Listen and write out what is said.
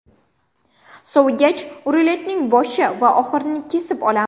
Sovigach, ruletning boshi va oxirini kesib olamiz.